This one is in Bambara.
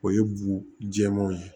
O ye bu jɛmanw ye